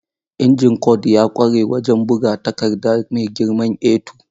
Injin Kord ya ƙware wajen buga takarda mai girman A2.